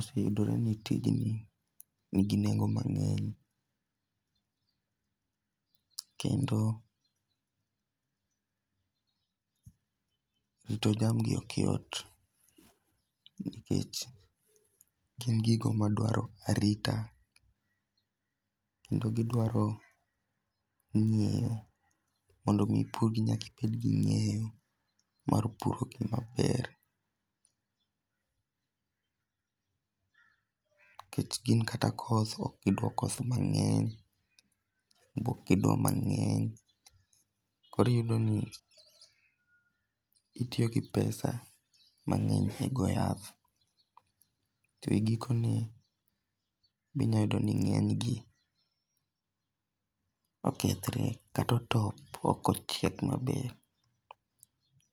Oseyudore ni tijni ni gi nengo mang'eny kendo rito chamgi ok yot. Nikech gin gigo madwaro arita kendo gidwaro ng'eyo mondo mi ipur gi nyaka ibed gi ng'eyo mar puro gi maber. Nikech gin kata koth ok gidwa koso mang'eny be ok gidwa mang'eny. Koro iyudo ni itiyo gi pesa mang'eny e go yath to e giko ne be inya yudo ni ng'eny gi okethre kata otop ok ochiek maber.